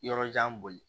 Yɔrɔjan boli